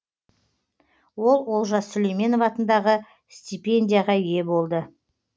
ол олжас сүлейменов атындағы стипендияға ие болды